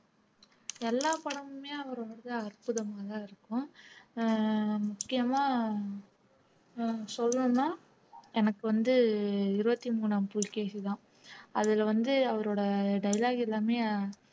எல்லா படமுமே அவர் வந்து அற்புதமாதான் இருக்கும் அஹ் முக்கியமா நான் சொல்றேன்னா எனக்கு வந்து இருபத்தி மூணாம் புலிகேசிதான் அதுல வந்து அவரோட dialogue எல்லாமே